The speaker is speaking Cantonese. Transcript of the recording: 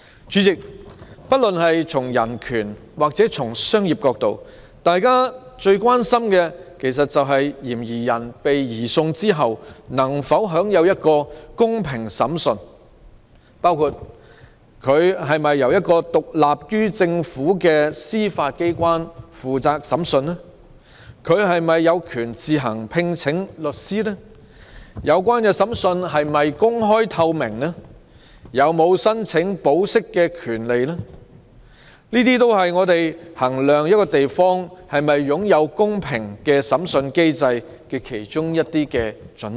主席，不論從人權還是商業角度來看，大家最關心的是，嫌疑人被移送後能否享有公平審訊，包括是否由獨立於政府的司法機關負責審訊、他是否有權自行聘請律師、有關審訊是否公開透明、他有否申請保釋的權利等，都是我們衡量一個地方是否擁有公平審訊機制的準則。